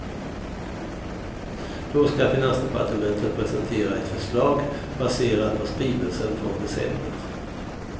Då skall finansdepartementet presentera ett förslag baserat på skrivelsen från december.